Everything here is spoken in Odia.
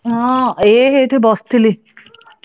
ହଁ ଏ ଏଇଠି ବସିଥିଲି ।